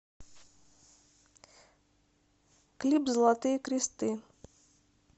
клип золотые кресты